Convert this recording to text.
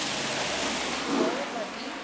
ja wat die